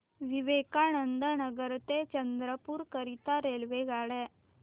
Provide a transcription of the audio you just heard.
विवेकानंद नगर ते चंद्रपूर करीता रेल्वेगाड्या